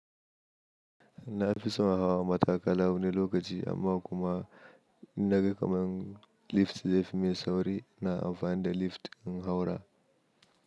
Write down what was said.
Na fi son hawa matakala wani lokaci amma kuma na ga kamar lift zai fi mai sauri na amfani da lift in haura.